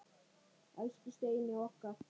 Elsku Steini okkar.